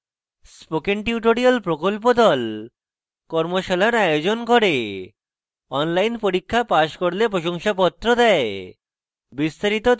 spoken tutorial প্রকল্প the কর্মশালার আয়োজন করে অনলাইন পরীক্ষা পাস করলে প্রশংসাপত্র দেয়